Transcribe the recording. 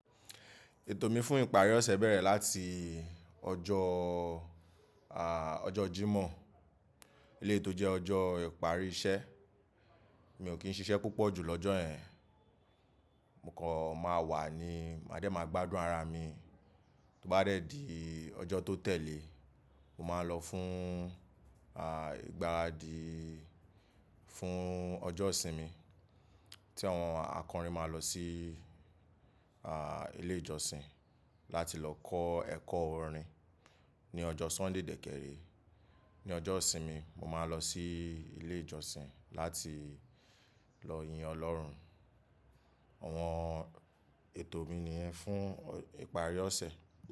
Ètò mi fún ìparí ọ̀sẹ̀ bẹ̀rẹ̀ láti ọjọ́ à, ọjọ́ Jímọ̀. Eleyi tò jẹ́ ọjọ́ ìparí iṣẹ́. Mi ò kí ń ṣiṣẹ́ púpọ̀ ju lọ́jọ́ ẹ́n. Mo kọ̀ máa wà ní, mádẹ máa gbádùn ara mi. Tó bá rẹ́ di ọjọ́ tó tẹ̀lé, mo máa lọ fún à, ìgbáradi fún ọjọ́ ìsinmi. Tí àwọn akọrin máa lọ sí à, ilé ìjọsìn láti lọ kọ́ ẹ̀kọ́ orin ní ọjọ́ Sunday dẹ́kẹre, Ní ọjọ́ ìsinmi, mo máa lọ sí ilé ìjọsìn láti lọ yin Ọlọ́run. Àwọn ètò mi nìyẹn fún ìparí ọ̀sẹ̀.